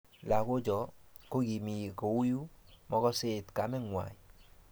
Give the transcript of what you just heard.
Lagochoto kokimi kouyo mokoseit kamengwai